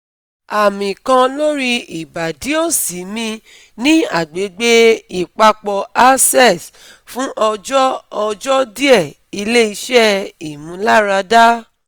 Ami kan lori ibadi osi mi ni agbegbe ipapo aces fun ojo ojo die ile ise imularada